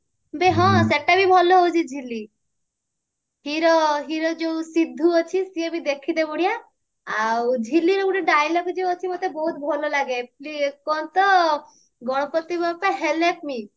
ବେ ହଁ ସେଟା ବି ଭଲ ଦଉଛି ଝିଲି hero hero ଯଉ ସିଦ୍ଧୁ ଅଛି ସିଏ ବି ଦେଖିତେ ବଢିଆ ଆଉ ଝିଲିର ଗୋଟେ dialogue ଯଉ ଅଛି ମତେ ବହୁତ ଭଲ ଲାଗେ କଣ ତ ଗଣପତି ବାପ୍ପା help me